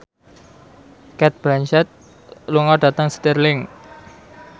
Cate Blanchett lunga dhateng Stirling